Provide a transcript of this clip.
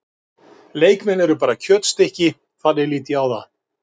Leikmenn eru bara kjötstykki, þannig lít ég á það.